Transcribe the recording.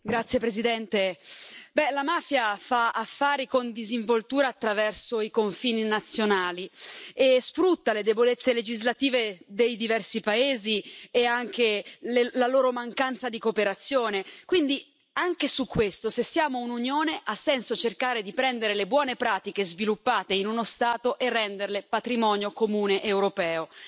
Signor Presidente, onorevoli colleghi, la mafia fa affari con disinvoltura attraverso i confini nazionali e sfrutta le debolezze legislative dei diversi paesi e anche la loro mancanza di cooperazione, quindi anche su questo se siamo un'Unione, ha senso cercare di prendere le buone pratiche sviluppate in uno Stato e renderle patrimonio comune europeo.